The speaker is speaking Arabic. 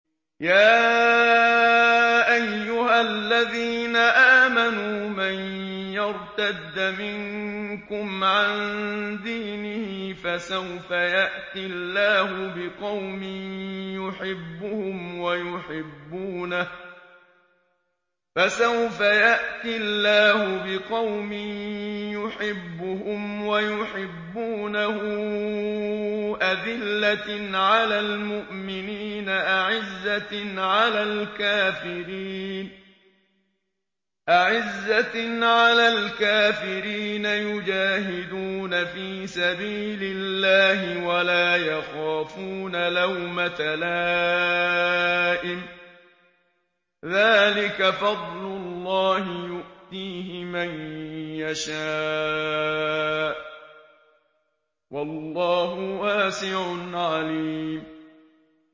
يَا أَيُّهَا الَّذِينَ آمَنُوا مَن يَرْتَدَّ مِنكُمْ عَن دِينِهِ فَسَوْفَ يَأْتِي اللَّهُ بِقَوْمٍ يُحِبُّهُمْ وَيُحِبُّونَهُ أَذِلَّةٍ عَلَى الْمُؤْمِنِينَ أَعِزَّةٍ عَلَى الْكَافِرِينَ يُجَاهِدُونَ فِي سَبِيلِ اللَّهِ وَلَا يَخَافُونَ لَوْمَةَ لَائِمٍ ۚ ذَٰلِكَ فَضْلُ اللَّهِ يُؤْتِيهِ مَن يَشَاءُ ۚ وَاللَّهُ وَاسِعٌ عَلِيمٌ